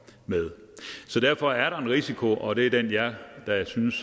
med så derfor er der en risiko og det er den jeg da synes